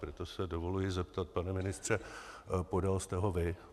Proto si dovoluji zeptat, pane ministře - podal jste ho vy?